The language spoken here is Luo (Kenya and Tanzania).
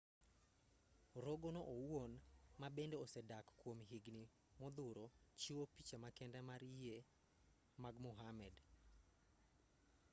rogo no owuon ma bende osedak kuom higni modhuro chiwo picha ma kende mar yie mag muhammad